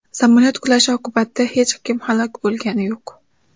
Samolyot qulashi oqibatida hech kim halok bo‘lgani yo‘q.